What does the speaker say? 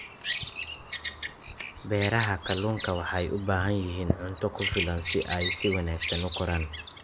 Beeraha kalluunka waxay u baahan yihiin cunto ku filan si ay si wanaagsan u koraan.